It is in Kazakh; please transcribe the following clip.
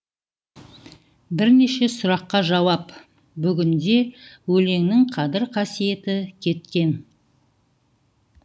бірнеше сұраққа жауап бүгінде өлеңнің қадір қасиеті кеткен